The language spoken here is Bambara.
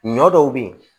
Ɲɔ dɔw be ye